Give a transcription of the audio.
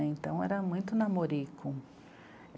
Então, era muito namorico.